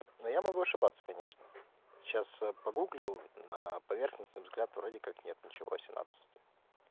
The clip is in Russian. но я могу ошибаться конечно сейчас погуглил на поверхностный взгляд вроде как нет ничего восемнадцать